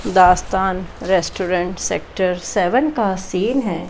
दास्तान restaurant sector seven का सीन है।